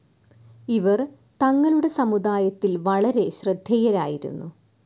ഇവർ തങ്ങളുടെ സമുദായത്തിൽ വളരെ ശ്രദ്ധേയരായിരുന്നു.